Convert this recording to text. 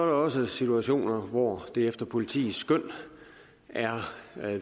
også situationer hvor det efter politiets skøn er